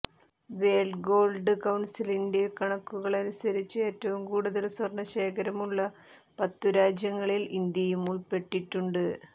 world gold കൌൺസിലിൻറെ കണക്കുകളനുസരിച്ച് ഏറ്റവും കൂടുതൽ സ്വർണ ശേഖരമുള്ള പത്തു രാജ്യങ്ങളിൽ ഇന്ത്യയും ഉൾപ്പെട്ടിട്ടുണ്ട്